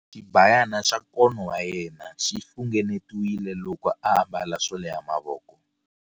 Xibayana xa nkono wa yena xi funengetiwile loko a ambala swo leha mavoko.